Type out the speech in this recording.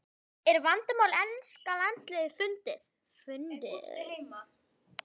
Er vandamál enska landsliðsins fundið?